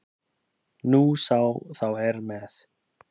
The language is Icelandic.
Nú sem þá er með